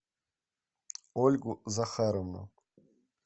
ольгу захаровну